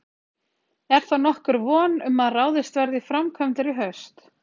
Er þá nokkur von um að ráðist verði í framkvæmdir í haust?